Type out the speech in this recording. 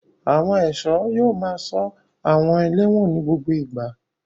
Àwọn ẹ̀ṣọ́ yóò máa ṣọ́ àwọn ẹlẹ́wọ̀n ní gbogbo ìgbà.